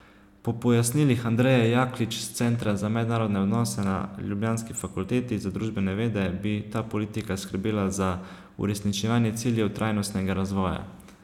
Po pojasnilih Andreje Jaklič s Centra za mednarodne odnose na ljubljanski fakulteti za družbene vede bi ta politika skrbela za uresničevanje ciljev trajnostnega razvoja.